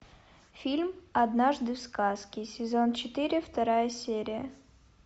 фильм однажды в сказке сезон четыре вторая серия